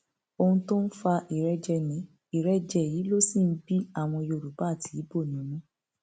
ohun tó ń fa ìrẹjẹ ní ìrẹjẹ yìí ló sì ń bí àwọn yorùbá àti ibo nínú